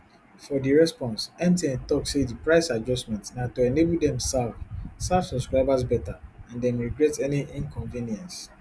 for di response mtn tok say di price adjustment na to enable dem serve serve subscribers beta and dem regret any inconvenience